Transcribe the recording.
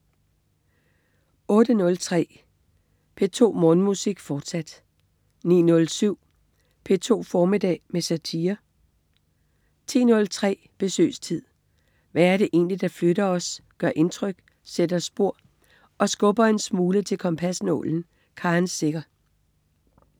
08.03 P2 Morgenmusik, fortsat 09.07 P2 formiddag med satire 10.03 Besøgstid. Hvad er det egentlig, der flytter os, gør indtryk, sætter spor og skubber en smule til kompasnålen? Karen Secher